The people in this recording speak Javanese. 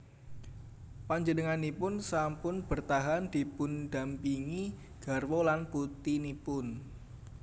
Panjenenganipun sampun bertahan dipundhampingi garwa lan putinipun